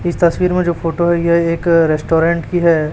इस तस्वीर में जो फोटो है यह एक रेस्टोरेंट की है।